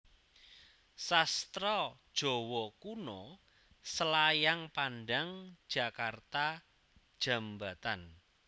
Sastra Jawa Kuno Selayang Pandang Jakarta Djambatan